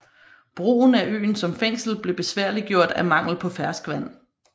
Brugen af øen som fængsel blev besværliggjort af mangel på ferskvand